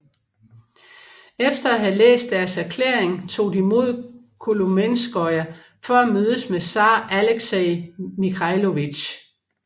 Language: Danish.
Efter at have læst deres erklæring tog de mod Kolomenskoye for at mødes med zar Alexei Mikhailovich